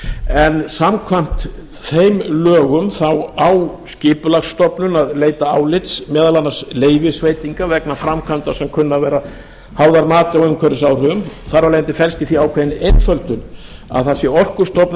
en samkvæmt þeim lögum þá á skipulagsstofnun að leita álits meðal annars leyfisveitenda vegna framkvæmda sem kunna að vera háðar mati á umhverfisáhrifum þar af leiðandi felst í því ákveðin einföldun að það sé orkustofnun